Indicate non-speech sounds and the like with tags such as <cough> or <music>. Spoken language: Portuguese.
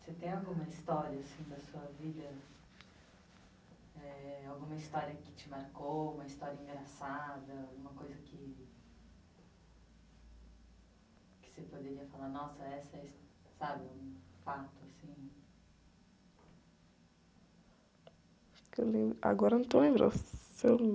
Você tem alguma história, assim, da sua vida, eh, alguma história que te marcou, uma história engraçada, alguma coisa que, que você poderia falar, nossa, essa é a, <unintelligible> sabe? Um fato, assim?ue eu lembro, agora eu não estou lembrando, se eu...